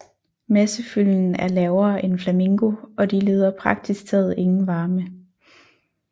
Massefylden er lavere end flamingo og de leder praktisk taget ingen varme